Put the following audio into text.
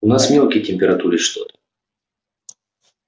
у нас мелкий температурит что-то